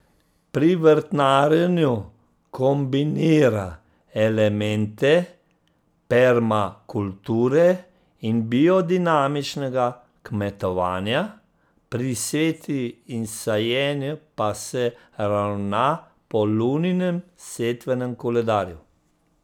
Pri vrtnarjenju kombinira elemente permakulture in biodinamičnega kmetovanja, pri setvi in sajenju pa se ravna po luninem setvenem koledarju.